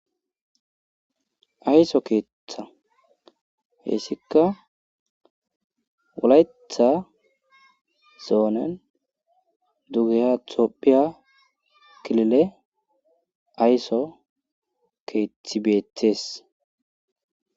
Ayso keetha heysikka wolaytha zoonen dugehaa toppiya kilile ayso keethi beettes.